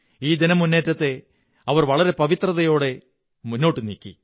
ഈ ജനമുന്നേറ്റത്തെ അവർ വളരെ പവിത്രതയോടെ മുന്നോട്ടുനീക്കി